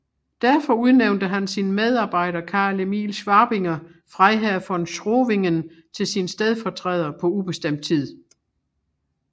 Derfor udnævnte han sin medarbejder Karl Emil Schabinger Freiherr von Schowingen til sin stedfortræder på ubestemt tid